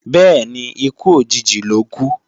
Bẹ́ẹ̀ni, ikú òjijì lókú